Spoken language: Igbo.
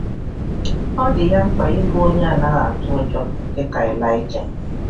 Ọ dị ya mkpa ịbụ onye anaghị atụ ụjọ um dị ka Ịlaịja. um